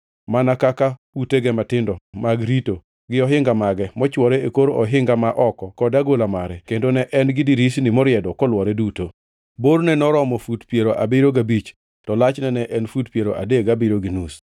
mana kaka utege matindo mag rito, gi ohinga mage mochwore e kor ohinga ma oko kod agola mare, kendo ne en gi dirisni moriedo kolwore duto. Borne noromo fut piero abiriyo gabich to lachne ne en fut piero adek gabiriyo gi nus.